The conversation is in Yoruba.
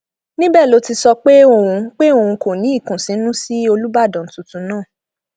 níbẹ ló ti sọ pé òun pé òun kò ní ìkùnsínú sí olùbàdàn tuntun náà